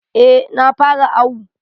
Eh na fara awu.